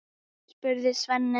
spurði Svenni.